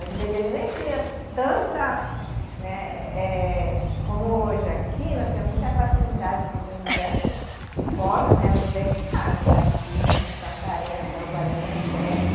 Às vezes ele nem tinha tanta, né, é como hoje aqui, nós temos muita facilidade que tem diversos polos, né, universitários aqui, né, em Santarém, logo ali, né, perto.